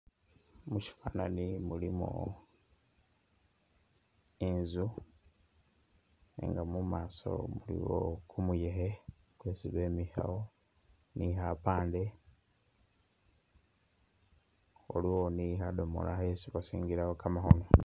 Musyifwananyi mulimu inzu nenga mu maaso iliwo kumuyekhe, kwesi bemikhawo ni khapaande, waliwo ni khadomola khesi basingilawo kamakhono.